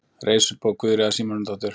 Reisubók Guðríðar Símonardóttur.